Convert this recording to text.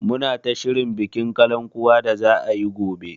Muna ta shirin bikin kalankuwa da za a yi gobe.